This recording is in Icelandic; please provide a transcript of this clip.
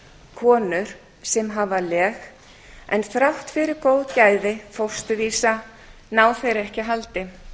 konur sem hafa leg en þrátt fyrir góð gæði fósturvísa ná þeir ekki haldi